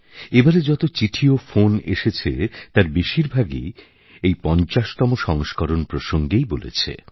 এবারে যতো চিঠি ও ফোন এসেছে তার বেশিরভাগই এই ৫০তম সংস্করণ প্রসঙ্গেই বলেছে